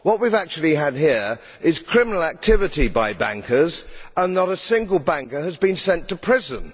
What we have actually had here is criminal activity by banks and not a single banker has been sent to prison.